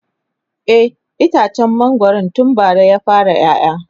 e itacen mangwaron tun bara ya fara ƴaƴa